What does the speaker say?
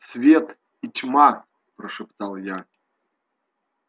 свет и тьма прошептал я